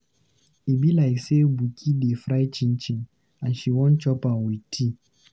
E be like sey Buki dey fry chinchin, and she wan chop am with tea.